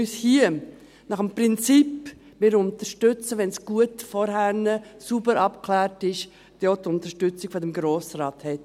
Dies, damit man, wenn man nach dem Prinzip handelt, «wir unterstützen, wenn es zuvor gut, sauber abgeklärt wurde», dann auch die Unterstützung des Grossen Rates hat.